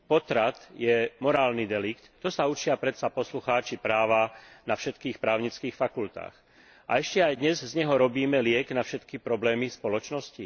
Potrat je morálny delikt, to sa učia predsa poslucháči práva na všetkých právnických fakultách. A ešte aj dnes z neho robíme liek na všetky problémy spoločnosti?